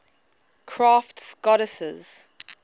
crafts goddesses